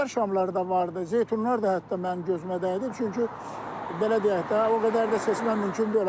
Eldar şamları da var idi, zeytunlar da hətta mən gözümə dəydim, çünki belə deyək də, o qədər də seçmək mümkün deyil.